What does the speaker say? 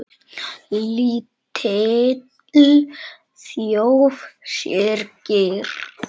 Lítil þjóð syrgir.